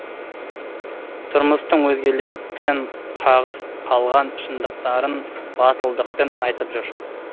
тұрмыстың өзгелерден қағыс қалған шындықтарын батылдықпен айтып жүр